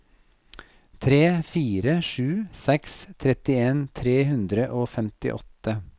tre fire sju seks trettien tre hundre og femtiåtte